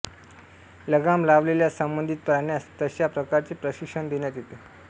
लगाम लावलेल्या संबंधित प्राण्यास तशा प्रकारचे प्रशिक्षण देण्यात येते